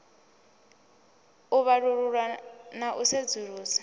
u vhalulula na u sedzulusa